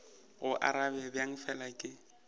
go arabe bjang fela ke